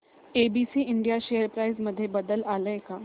ABC India share price मध्ये बदल आलाय का